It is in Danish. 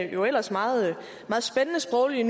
jo ellers meget spændende sproglige